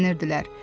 şənlənirdilər.